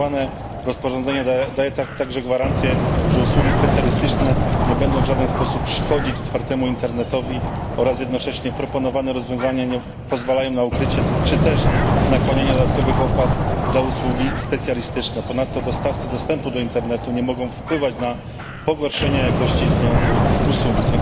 Proponowane rozporządzenie daje także gwarancję, że usługi specjalistyczne nie będą w żaden sposób szkodzić otwartemu internetowi oraz jednocześnie proponowane rozwiązania nie pozwalają na ukrycie czy też nakładanie dodatkowych opłat za usługi specjalistyczne. Ponadto dostawcy dostępu do internetu nie mogą wpływać na pogorszenie jakości istniejącej usługi.